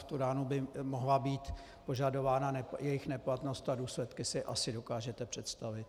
V tu ránu by mohla být požadována jejich neplatnost a důsledky si asi dokážete představit.